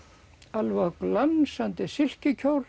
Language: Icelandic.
alveg á glansandi